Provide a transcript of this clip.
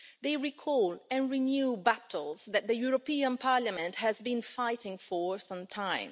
they recall and renew battles that the European Parliament has been fighting for some time.